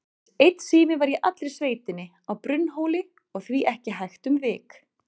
Aðeins einn sími var í allri sveitinni, á Brunnhóli, og því ekki hægt um vik.